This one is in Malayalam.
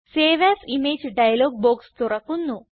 save as image dialog box തുറക്കുന്നു